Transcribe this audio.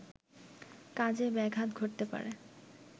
কাজে ব্যাঘাত ঘটতে পারে